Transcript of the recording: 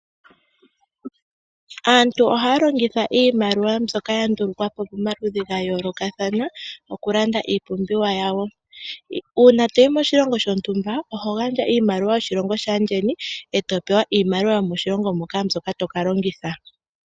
Aantu ohaya longitha iimaliwa mbyoka ya ndulukwa po momaludhi ga yoolokathana okulanda iipumbiwa yawo. Uuna to yi moshilongo shontumba oho gandja iimaliwa yoshilongo shaandjeni, e to pewa iimaliwa yomoshilongo moka mbyoka to ka longitha.